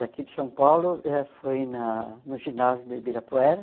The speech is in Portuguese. Daqui de São Paulo ãh foi na no ginásio do Ibirapuera.